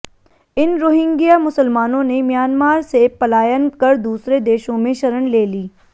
इन Rohingya मुसलमानों ने Myanmar से पलायन कर दूसरे देशों में शरण ले ली